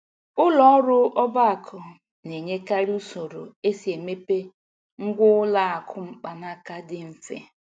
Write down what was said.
Ụlọ ọrụ ọba aku na-enyekarị usoro esi emepe ngwá ụlọ akụ mkpanaka dị mfe